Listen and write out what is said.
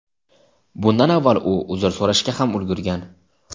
Bundan avval u uzr so‘rashga ham ulgurgan.